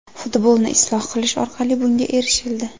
Futbolni isloh qilish orqali bunga erishildi.